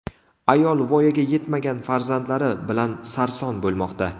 Ayol voyaga yetmagan farzandlari bilan sarson bo‘lmoqda.